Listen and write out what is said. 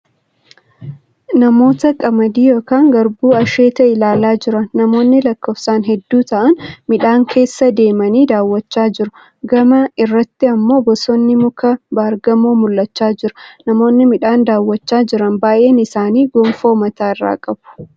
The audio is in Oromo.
Namoota qamadii yookiin garbuu asheete ilaalaa jiran . Namoonni lakkoofsaan hedduu ta'an midhaan keessa deemanii daawwachaa jiru. Gama irratti immoo bosonni muka baargamoo mul'achaa jira. Namoonni midhaan daawwachaa jiran baay'een isaanii gonfoo mataa irraa qabu.